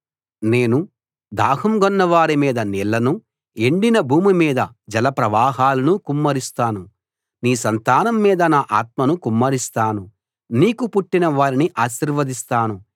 నేను దాహం గొన్నవారి మీద నీళ్లను ఎండిన భూమి మీద జల ప్రవాహాలను కుమ్మరిస్తాను నీ సంతానం మీద నా ఆత్మను కుమ్మరిస్తాను నీకు పుట్టిన వారిని ఆశీర్వదిస్తాను